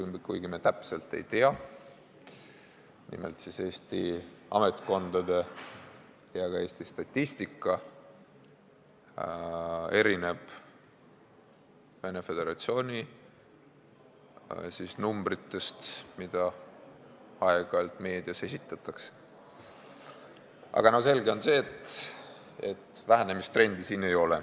Kuigi me täpset seisu ei tea – nimelt erinevad Eesti ametkondade ja ka Eesti Statistika andmed Venemaa Föderatsiooni arvudest, mida aeg-ajalt meedias esitatakse –, on selge see, et vähenemistrendi siin ei ole.